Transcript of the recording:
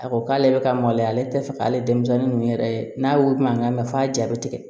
A ko k'ale bɛ ka maloya ale tɛ fɛ k'ale denmisɛnnin ninnu yɛrɛ ye n'a mankan mɛ f'a ja bɛ tigɛ